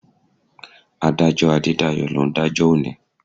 Adájọ́ Adédayọ̀ ló ń dájọ́ òní.